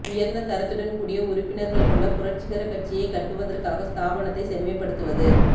உயர்ந்த தரத்துடன் கூடிய உறுப்பினர்கள் கொண்ட புரட்சிகரக் கட்சியைக் கட்டுவதற்காக ஸ்தாபனத்தை செம்மைப்படுத்துவது